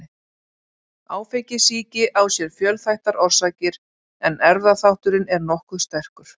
Áfengissýki á sér fjölþættar orsakir en erfðaþátturinn er nokkuð sterkur.